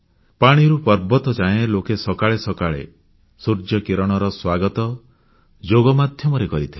ପାଣିରୁ ପର୍ବତଯାଏ ଲୋକେ ସକାଳେ ସକାଳେ ସୂର୍ଯ୍ୟ କିରଣର ସ୍ୱାଗତ ଯୋଗ ମାଧ୍ୟମରେ କରିଥିଲେ